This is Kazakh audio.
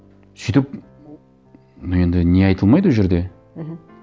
сөйтіп ну енді не айтылмайды ол жерде мхм